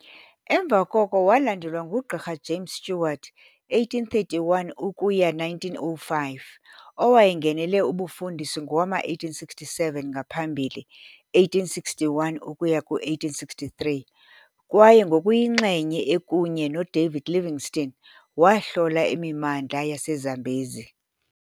Emva koko walandelwa nguGqirha James Stewart, 1831 ukuya 1905, owayengenele ubufundisi ngowama1867, ngaphambili, 1861 ukuya ku-1863, kwaye ngokuyinxenye ekunye noDavid Livingstone, wahlola imimandla yaseZambezi .